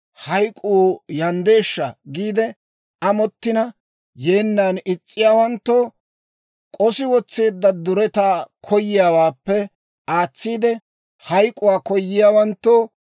hayk'k'uu yanddeeshsha giide amottina, yeennan is's'iyaawanttoo, k'osi wotseedda duretaa koyiyaawaappe aatsiide, hayk'k'uwaa koyiyaawanttoo,